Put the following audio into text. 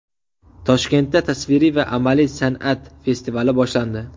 Toshkentda tasviriy va amaliy san’at festivali boshlandi.